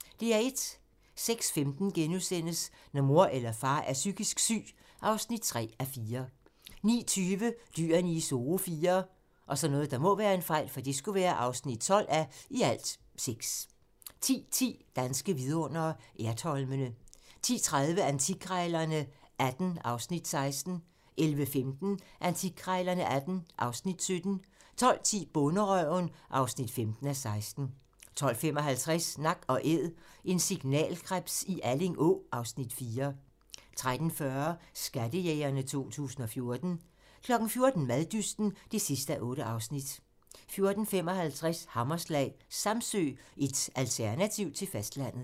06:15: Når mor eller far er psykisk syg (3:4)* 09:20: Dyrene i Zoo IV (12:6) 10:10: Danske vidundere: Ertholmene 10:30: Antikkrejlerne XVIII (Afs. 16) 11:15: Antikkrejlerne XVIII (Afs. 17) 12:10: Bonderøven (15:16) 12:55: Nak & Æd - en signalkrebs i Alling Å (Afs. 4) 13:40: Skattejægerne 2014 14:00: Maddysten (8:8) 14:55: Hammerslag - Samsø, et alternativ til fastlandet